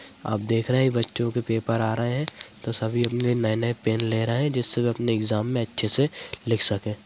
आप देख रहे है बच्चों के पेपर आ रहे है तो सभी अपने नए-नए पेन ले रहे है जिससे वो अपने एग्जाम मे अच्छे से लिख सके।